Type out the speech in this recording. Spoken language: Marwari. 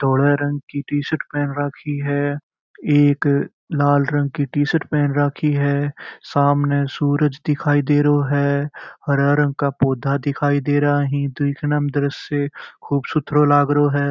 धोले रंग की टी शर्ट पहन राखी है एक लाल रंग की टी शर्ट पहन राखी है सामने सूरज दिखाई दे रहो है हरा रंग का पौधा दिखाई दे रहा है देखने में दर्श्ये खूब सुथरो लाग रहो है।